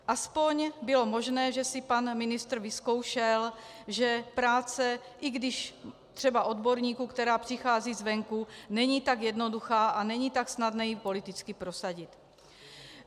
Aspoň bylo možné, že si pan ministr vyzkoušel, že práce i když třeba odborníků, která přichází zvenku, není tak jednoduchá a není tak snadné ji politicky prosadit.